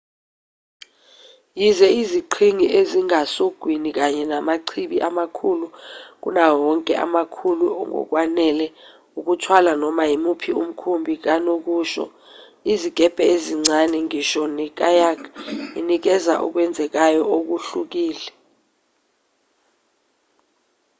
yize iziqhingi ezingasogwini kanye namachibi amakhulu kunawo wonke emakhulu ngokwanele ukuthwala noma imuphi umkhumbi kanokusho izikebhe ezincane noma ngisho ne-kayak inikeza okwenzekayo okuhlukile